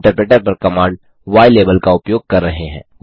हम इन्टरप्रेटर पर command ylabel का उपयोग कर रहे हैं